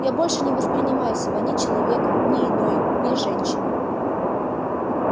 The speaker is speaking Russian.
я больше не воспринимаю себя ни человеком ни иной ни женщиной